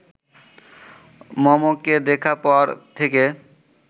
মমকে দেখার পর থেকে